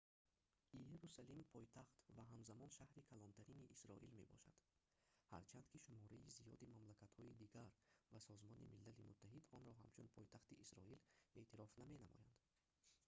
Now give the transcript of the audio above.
иерусалим пойтахт ва ҳамзамон шаҳри калонтарини исроил мебошад ҳарчанд ки шумораи зиёди мамлакатҳои дигар ва созмони милали муттаҳид онро ҳамчун пойтахти исроил эътироф наменамоянд